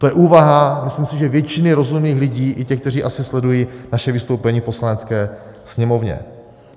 To je úvaha, myslím si, že většiny rozumných lidí, i těch, kteří asi sledují naše vystoupení v Poslanecké sněmovně.